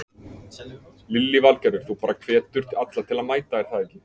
Lillý Valgerður: Þú bara hvetur alla til að mæta er það ekki?